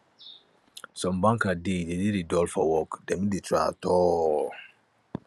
some banker dey dey dey dey dull for work dem no dey try at all